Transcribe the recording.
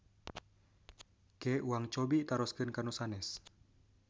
Ke uang cobi taroskeun ka nu sanes.